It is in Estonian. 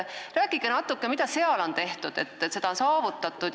Rääkige natuke, mida seal on tehtud, et see on saavutatud.